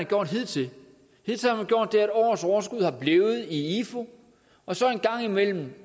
gjort hidtil hidtil har man gjort det at årets overskud er blevet i ifu og så en gang imellem